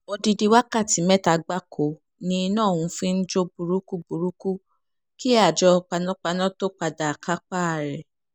odidi wákàtí mẹ́ta gbáko ni iná ọ̀hún fi ń jó burúkúburúkú kí àjọ panápaná tóo padà kápá ẹ̀